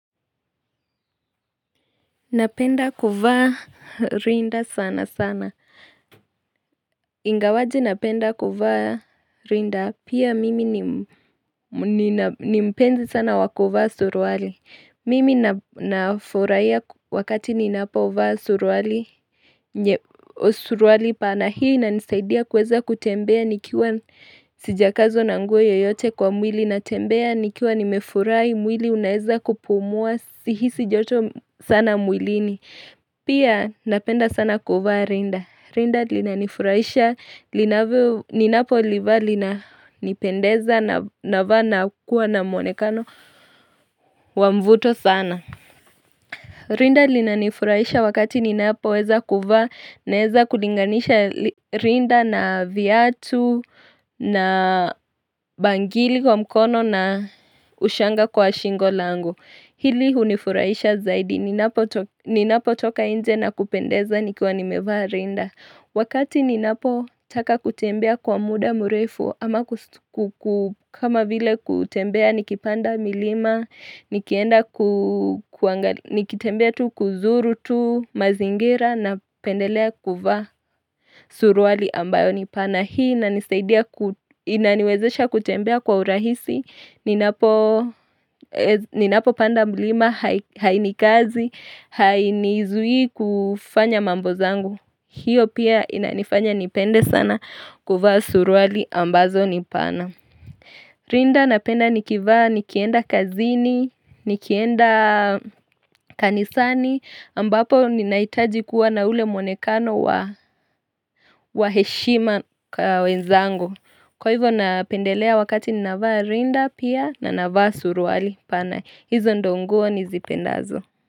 Napenda kuvaa rinda sana sana Ingawaje napenda kuvaa rinda pia mimi ni mpenzi sana wakovaa suruwali Mimi nafurahia wakati ninapovaa suruali pana hii inanisaidia kuweza kutembea nikiwa sijakazwa na nguo yoyote kwa mwili natembea nikiwa nimefurahi mwili unaweza kupumua sihisi joto sana mwilini Pia napenda sana kuvaa rinda. Rinda linanifurahisha linavyo. Ninapoliva lina nipendeza navaa na kuwa na muonekano wa mvuto sana. Rinda linanifurahisha wakati ninapoweza kuvaa naweza kuliganisha rinda na viatu na bangili kwa mkono na ushanga kwa shingo langu. Hili unifurahisha zaidi, ninapo toka nje na kupendeza nikiwa nimevaa rinda Wakati ninapo taka kutembea kwa muda mrefu ama kama vile kutembea nikipanda milima nikienda nikitembea tu kuzuru tu mazingira na pendelea kuvaa suruwali ambayo nipana na hii na nisaidia inaniwezesha kutembea kwa urahisi. Ninapo panda mlima hainikazi, hainizui kufanya mambo zangu. Hiyo pia inanifanya nipende sana kuvaa suruali ambazo nipana. Rinda napenda nikivaa nikienda kazini, nikienda kanisani. Ambapo ninahitaji kuwa na ule muonekano wa heshima kwa wenzangu. Kwa hivo napendelea wakati ni navaa rinda pia na navaa suruwali pana hizo ndo nguo nizipendazo.